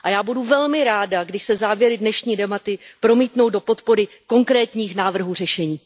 Já budu velmi ráda, když se závěry dnešní debaty promítnou do podpory konkrétních návrhů řešení.